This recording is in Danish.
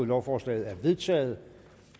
lovforslaget er vedtaget